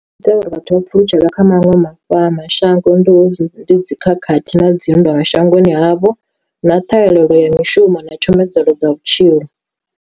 Uri vhathu vha pfhulutshela kha maṅwe mashango ndi ndi dzikhakhathi na dzinndwa shangoni havho, na ṱhahelelo ya mishumo na tshomedzelo dza vhutshilo.